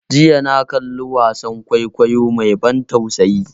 Jiya na kalli wasan kwaikwayo mai ban tausayi.